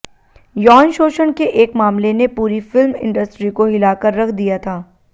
यौन शोषण के एक मामले ने पूरी फिल्म इंडस्ट्री को हिलाकर रख दिया था